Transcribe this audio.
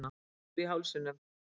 Kökkur í hálsinum.